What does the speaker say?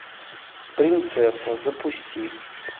принцесса запусти